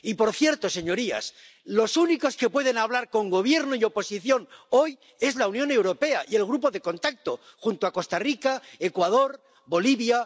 Y, por cierto, señorías, los únicos que pueden hablar con Gobierno y oposición hoy son la Unión Europea y el Grupo de Contacto junto a Costa Rica, Ecuador, Bolivia.